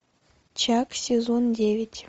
чак сезон девять